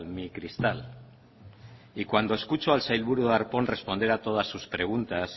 mi cristal y cuando escucho al sailburu darpón responder a todas sus preguntas